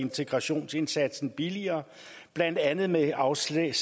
integrationsindsatsen billigere blandt andet med afsæt